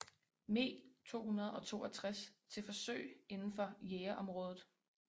Me 262 til forsøg indenfor jagerområdet